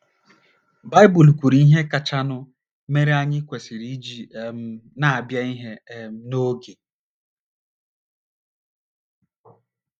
Baịbụl kwuru ihe kachanụ mere anyị kwesịrị iji um na - abịa ihe um n’oge.